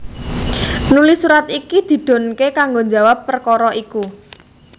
Nuli surat iki didhunké kanggo njawab perkara iku